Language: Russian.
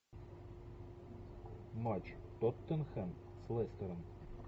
матч тоттенхэм с лестером